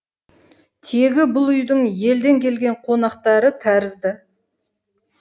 тегі бұл үйдің елден келген қонақтары тәрізді